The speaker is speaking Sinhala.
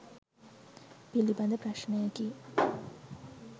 පිළිබඳ ප්‍රශ්නයකි.